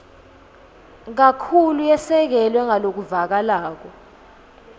kakhulu yasekelwa ngalokuvakalako